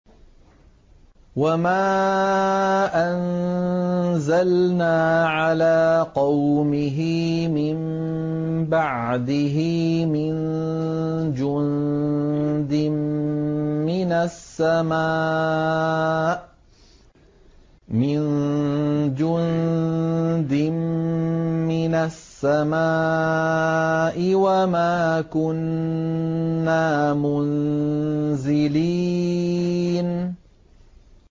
۞ وَمَا أَنزَلْنَا عَلَىٰ قَوْمِهِ مِن بَعْدِهِ مِن جُندٍ مِّنَ السَّمَاءِ وَمَا كُنَّا مُنزِلِينَ